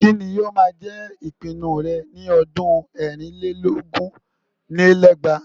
Kí ni ó máa jẹ ìpinnu rẹ ní ọdún ẹ̀rìn lé lógún lé lẹ́gbàá?